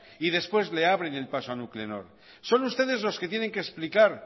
y después le abren el paso a nuclenor son ustedes los que tienen que explicar